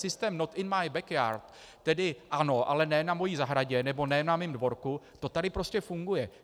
Systém not in my backyard, tedy ano, ale ne na mojí zahradě, nebo ne na mém dvorku, to tady prostě funguje.